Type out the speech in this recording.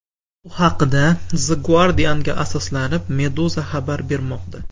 Bu haqda, The Guardian’ga asoslanib, Meduza xabar bermoqda .